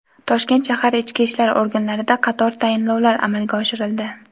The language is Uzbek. Toshkent shahar ichki ishlar organlarida qator tayinlovlar amalga oshirildi.